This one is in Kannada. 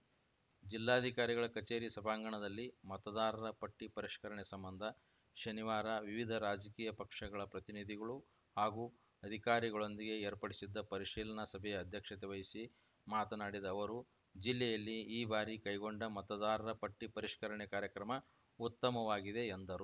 ಜಿಲ್ಲಾಧಿಕಾರಿಗಳ ಕಚೇರಿ ಸಭಾಂಗಣದಲ್ಲಿ ಮತದಾರರ ಪಟ್ಟಿಪರಿಷ್ಕರಣೆ ಸಂಬಂಧ ಶನಿವಾರ ವಿವಿಧ ರಾಜಕೀಯ ಪಕ್ಷಗಳ ಪ್ರತಿನಿಧಿಗಳು ಹಾಗೂ ಅಧಿಕಾರಿಗಳೊಂದಿಗೆ ಏರ್ಪಡಿಸಿದ್ಧ ಪರಿಶೀಲನಾ ಸಭೆಯ ಅಧ್ಯಕ್ಷತೆ ವಹಿಸಿ ಮಾತನಾಡಿದ ಅವರು ಜಿಲ್ಲೆಯಲ್ಲಿ ಈ ಬಾರಿ ಕೈಗೊಂಡ ಮತದಾರರ ಪಟ್ಟಿಪರಿಷ್ಕರಣೆ ಕಾರ್ಯಕ್ರಮ ಉತ್ತಮವಾಗಿದೆ ಎಂದರು